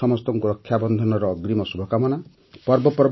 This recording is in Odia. ଆପଣ ସମସ୍ତଙ୍କୁ ରକ୍ଷାବନ୍ଧନର ଅଗ୍ରୀମ ଶୁଭକାମନା